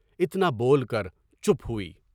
اتنا بول کر چپ ہوئی۔